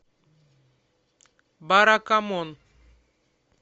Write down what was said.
баракамон